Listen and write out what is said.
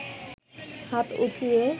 হাত উচিয়ে